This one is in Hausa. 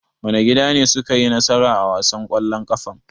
Wane gida ne suka yi nasara a wasan ƙwallon ƙafan?